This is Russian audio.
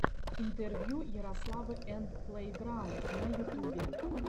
интервью ярославы энд плэйграунд на ютубе